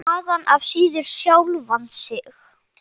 Þaðan af síður sjálfan sig.